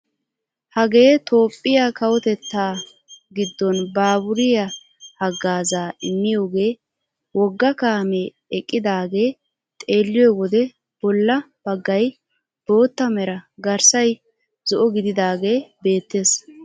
Hagee toophphiyaa kawotettaa giddon baaburiyaa hagaazaa immiyoogee wogga kaamee eqqidagee xeelliyoo wode bolla baggay bootta mera garssay zo'o gididagee beettes!